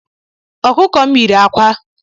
Okuko m yiri ákwà